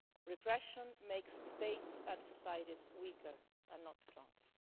Repression makes states and societies weaker and not stronger.